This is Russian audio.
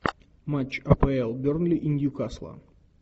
матч апл бернли и ньюкасла